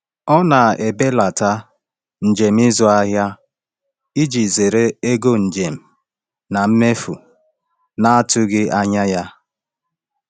Ọ na-ebelata njem ịzụ ahịa iji zere ego njem na mmefu na-atụghị anya ya.